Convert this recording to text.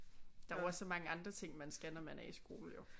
Der er jo også så mange andre ting man skal når man er i skole jo